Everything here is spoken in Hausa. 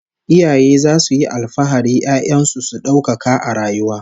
Iyaye zasu yi alfahari 'ya'yan su su daukaka a rayuwa